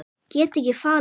Get ekki falið mig.